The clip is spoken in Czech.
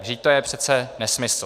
Vždyť to je přece nesmysl.